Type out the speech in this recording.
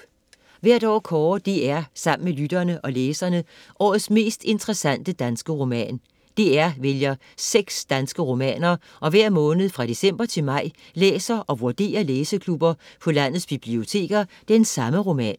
Hvert år kårer DR sammen med lytterne og læserne årets mest interessante danske roman. DR vælger 6 danske romaner og hver måned fra december til maj læser og vurderer læseklubber på landets biblioteker den samme roman.